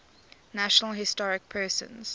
national historic persons